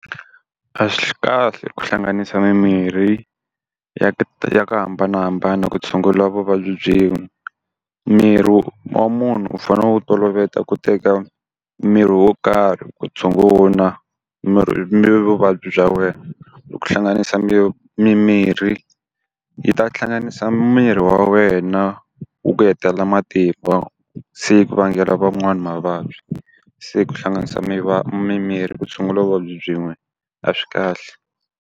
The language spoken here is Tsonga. A swi kahle ku hlanganisa mimirhi ya ti ya ku hambanahambana ku tshungula vuvabyi byin'we. Miri wa munhu u fanele u wu toloveta ku teka mirhi wo karhi ku tshungula vuvabyi bya wena. Ku hlanganisa mimirhi yi ta hlanganisa miri wa wena wu ku hetelela matimba se yi ku vangela van'wana mavabyi. Se ku hlanganisa mi mimirhi ku tshungula vuvabyi byin'we a swi kahle.